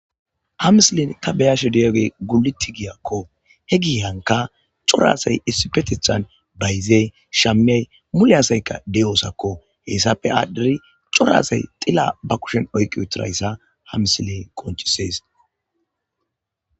hamislin ta beyasho diyogey guluti giyakko he gihanka corasay issipetithan bayzey shamiay muleyasayka deyoosakko hessafe aadhderi corasay xilla ba kushen oykqi utirayssa hamisiley qonchisees